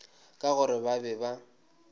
ka gore ba be ba